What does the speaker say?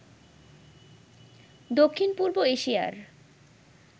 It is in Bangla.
দক্ষিণ পূর্ব এশিয়ার